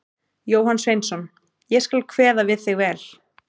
Jóhann Sveinsson: Ég skal kveða við þig vel.